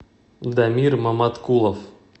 дамир маматкулов